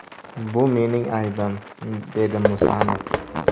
Bu mening aybim”, dedi Musanov.